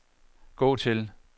gå til